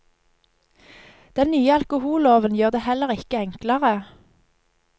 Den nye alkoholloven gjør det heller ikke enklere.